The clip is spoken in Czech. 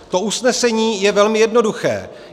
To usnesení je velmi jednoduché.